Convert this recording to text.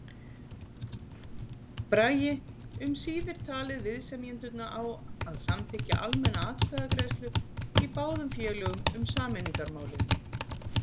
Bragi um síðir talið viðsemjendurna á að samþykkja almenna atkvæðagreiðslu í báðum félögum um sameiningarmálið.